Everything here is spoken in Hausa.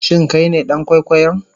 Shin Kai ne dan kwaikwayon?